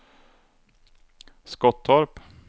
Skottorp